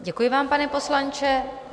Děkuji vám, pane poslanče.